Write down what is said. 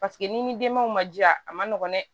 Paseke n'i ni denbaw man jiy a ma nɔgɔn dɛ